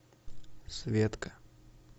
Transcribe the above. светка